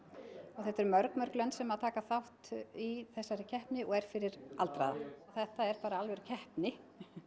þetta eru mörg mörg lönd sem taka þátt í þessari keppni sem er fyrir aldraða þetta er bara alvöru keppni